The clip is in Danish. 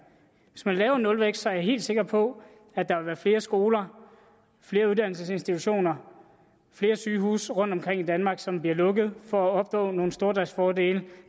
hvis man laver nulvækst er jeg helt sikker på at der vil være flere skoler flere uddannelsesinstitutioner flere sygehuse rundtomkring i danmark som bliver lukket for at opnå nogle stordriftsfordele